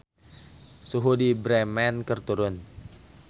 Suhu di Bremen keur turun